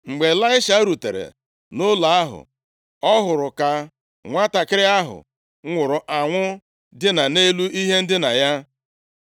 Mgbe Ịlaisha rutere nʼụlọ ahụ, ọ hụrụ ka nwantakịrị ahụ nwụrụ anwụ dina nʼelu ihe ndina ya.